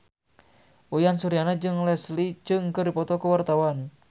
Uyan Suryana jeung Leslie Cheung keur dipoto ku wartawan